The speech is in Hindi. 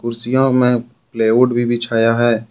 कुर्सियों में प्लाई वुड भी बिछाया है।